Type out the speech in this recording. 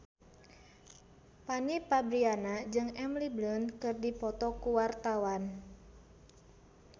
Fanny Fabriana jeung Emily Blunt keur dipoto ku wartawan